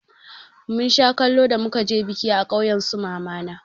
Mun sha kallo da muka je biki a ƙauyen su mama na.